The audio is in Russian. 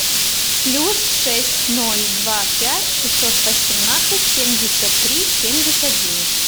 плюс шесть ноль два пять шестьсот восемнадцать семьдесят три семьдесят девять